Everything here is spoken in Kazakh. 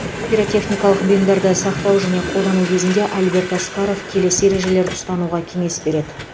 пиротехникалық бұйымдарды сақтау және қолдану кезінде альберт асқаров келесі ережелерді ұстануға кеңес береді